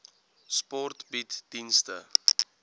sport bied dienste